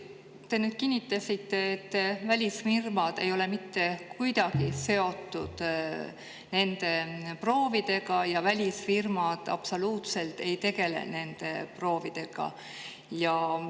Te nüüd kinnitasite, et välisfirmad ei ole mitte kuidagi seotud nende proovidega ja välisfirmad absoluutselt ei tegele nende proovidega.